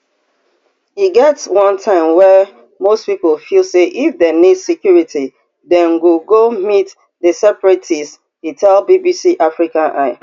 e get one time wey most pipo feel say if dem need security dem go go meet di separatists e tell bbc africa eye